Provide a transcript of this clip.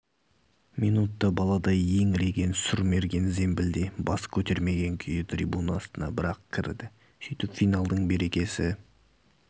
минутта баладай еңіреген сұрмерген зембілде бас көтермеген күйі трибуна астына бір-ақ кірді сөйтіп финалдың берекесі